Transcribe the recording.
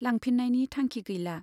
लांफिननायनि थांखि गैला।